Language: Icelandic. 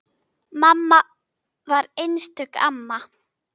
Mamma var einstök amma.